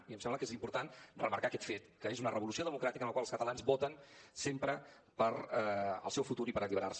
i em sembla que és important remarcar aquest fet que és una revolució democràtica en la qual els catalans voten sempre pel seu futur i per alliberar se